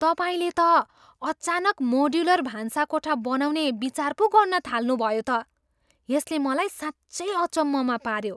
तपाईँले त अचानक मोड्युलर भान्साकोठा बनाउने विचार पो गर्नथाल्नुभयो त! यसले मलाई साँच्चै अचम्ममा पाऱ्यो।